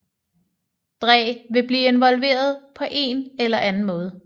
Dre ville blive involveret på en eller anden måde